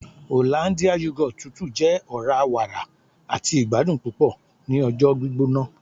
hollandia yoghurt tútù jẹ ọra-wàrà àti ìgbadùn púpò ni ọjọ gbígbóná